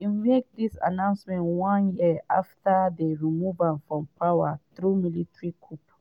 im make dis announcement one year afta dem remove from power through military coup.